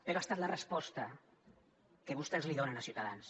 però ha estat la resposta que vostès donen a ciutadans